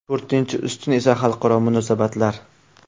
To‘rtinchi ustun esa xalqaro munosabatlar.